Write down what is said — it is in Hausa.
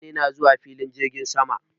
Mutane na zuwafilin jirgin sama